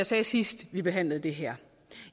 sagde sidst vi behandlede det her